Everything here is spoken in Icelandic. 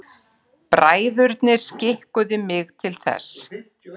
Bræðurnir skikkuðu mig til þess.